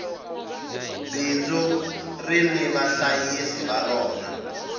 bindzu rini vahlayisi va rona